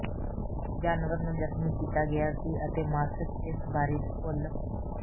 ਜਾਨਵਰ ਨੂੰ ਜ਼ਖਮੀ ਕੀਤਾ ਗਿਆ ਸੀ ਅਤੇ ਮਾਸਿਕ ਇਸ ਬਾਰੇ ਭੁੱਲ